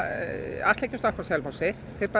ætla ekki að stoppa á Selfossi þeir